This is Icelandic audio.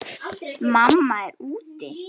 Mamma er úti.